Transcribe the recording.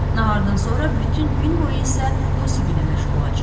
Nahardan sonra bütün gün boyu isə musiqi ilə məşğul olacağıq.